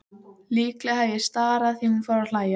Líklega hef ég starað því hún fór að hlæja.